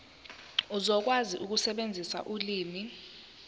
uzokwazi ukusebenzisa ulimi